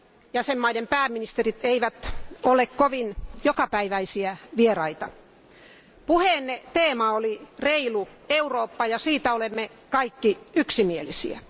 Jäsenvaltioiden pääministerit eivät ole kovin jokapäiväisiä vieraita. Puheenne teema oli reilu Eurooppa, ja siitä olemme kaikki yksimielisiä.